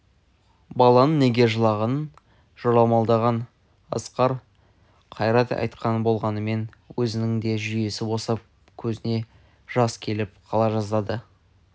баланың неге жылағанын жорамалдаған асқар қайрат айтқан болғанмен өзінің де жүйесі босап көзіне жас келіп қала жаздады